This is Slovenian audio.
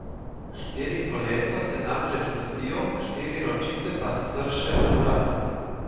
Štiri kolesa se namreč vrtijo, štiri ročice pa srše v zrak.